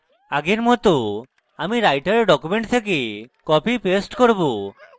আগের মত আমি writer document থেকে copypaste করব